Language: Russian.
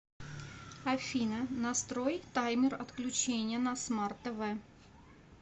афина настрой таймер отключения на смарт тв